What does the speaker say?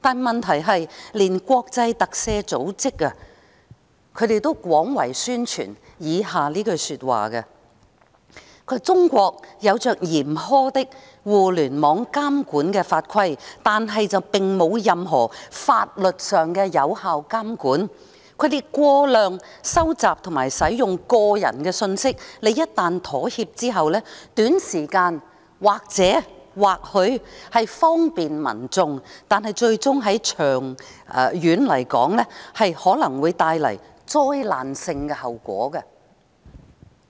問題是，連國際特赦組織也廣泛宣傳以下的話："中國有着嚴苛的互聯網監管法規，但並無任何法律上的有效監管，他們過量收集及使用個人信息，一旦妥協後，短時間或許方便民眾，但最終長遠而言，可能會帶來災難性的後果。